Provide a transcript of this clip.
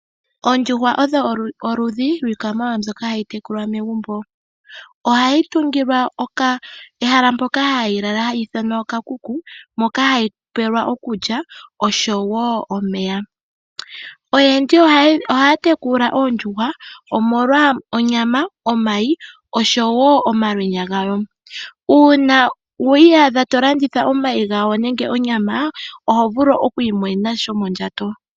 Oondjuhwa odho oludhi lwiikwamawawa mbyoka hayi tekulwa megumbo. Ohayi tungilwa ehala mpoka hayi lala hali ithanwa okakuku moka hayi pelwa okulya osho woo omeya. Oyendji ohaya tekula oondjuhwa omolwa onyama, omayi osho woo omalwenya gayo. Uuna wi iyadha tolanditha omayi gayo nenge onyama oho vulu oku imonena sha shomondjato.